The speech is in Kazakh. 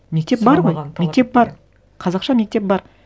мектеп бар ғой мектеп бар қазақша мектеп бар